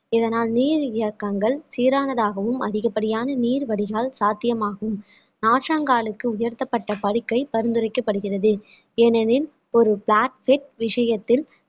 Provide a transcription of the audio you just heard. இதனால் சீரானதாகவும் அதிகப்படியான நீர் வடிகால் சாத்தியமாகும் நாற்றங்காலுக்கு உயர்த்தப்பட்ட படுக்கை பரிந்துரைக்கப்படுகிறது ஏனெனில் ஒரு விஷயத்தில்